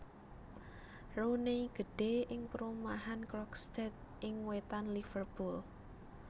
Rooney gedhè ing perumahan Croxteth ing wètan Liverpool